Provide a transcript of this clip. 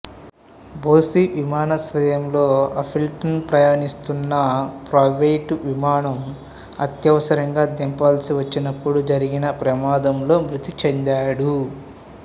బోసీ విమానాశ్రయంలో అపిల్టన్ ప్రయాణిస్తున్న ప్రైవేట్ విమానం అత్యవసరంగా దింపాల్సి వచ్చినప్పుడు జరిగిన ప్రమాదంలో మృతి చెందాడు